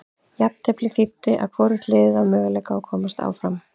Jafnteflið þýddi að hvorugt liðið á möguleika að komast áfram.